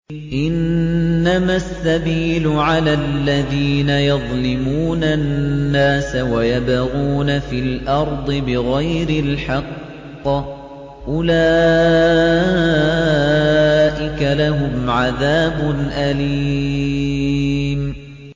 إِنَّمَا السَّبِيلُ عَلَى الَّذِينَ يَظْلِمُونَ النَّاسَ وَيَبْغُونَ فِي الْأَرْضِ بِغَيْرِ الْحَقِّ ۚ أُولَٰئِكَ لَهُمْ عَذَابٌ أَلِيمٌ